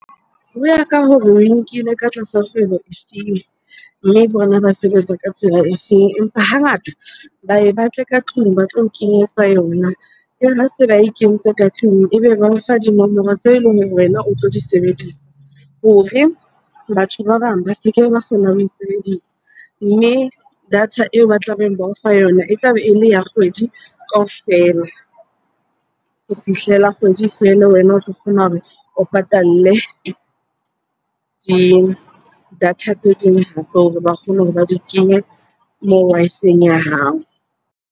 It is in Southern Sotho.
Ho ya ka hore oe nkile ka tlasa kgwebo e feng? Mme bona ba sebetsa ka tsela e feng? Hangata ba ye batle ka tlung ba tlo o kenyetsa yona. Se ba e kentse ka tlung, ebe ba o fa dinomoro tse eleng hore wena o tlo di sebedisa hore batho ba bang ba se ke ba kgona ho e sebedisa. Mme data eo ba tla beng ba o fa yona e tla be ele ya kgwedi kaofela ho fihlela e kgwedi feela. Wena o tlo kgona hore o patale di-data tse ding hape hore ba kgone hore ba di kenye moo Wi-Fi-eng ya hao.